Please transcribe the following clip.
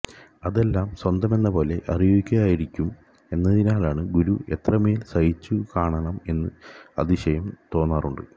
അതെല്ലാം സ്വന്തമെന്നപോലെ അറിയുകയായിരുന്നിരിക്കും എന്നതിനാല് ഗുരു എത്രമേല് സഹിച്ചു കാണണം എന്ന് അതിശയം തോന്നാറുണ്ട്